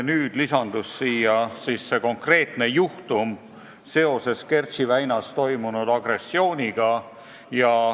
Nüüd lisandus konkreetne juhtum seoses Kertši väinas toimunud agressiooniga.